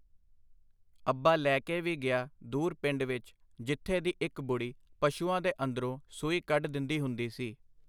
ਅੱਬਾ ਲੈ ਕੇ ਵੀ ਗਿਆ ਦੂਰ ਪਿੰਡ ਵਿੱਚ ਜਿੱਥੇ ਦੀ ਇੱਕ ਬੁੜ੍ਹੀ ਪਸ਼ੂਆਂ ਦੇ ਅੰਦਰੋਂ ਸੂਈ ਕੱਢ ਦਿੰਦੀ ਹੁੰਦੀ ਸੀ.